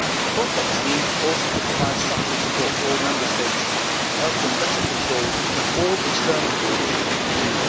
FRONTEX needs also to provide structural support to all Member States to help them better control all external borders of the EU.